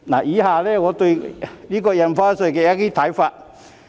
以下是我對印花稅的一些看法。